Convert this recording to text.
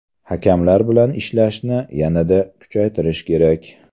Hakamlar bilan ishlashni yanada kuchaytirish kerak.